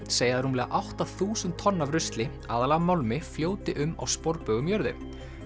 segja að rúmlega átta þúsund tonn af rusli aðallega málmi fljóti um á sporbaug um jörðu